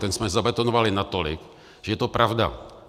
Ten jsme zabetonovali natolik, že je to pravda.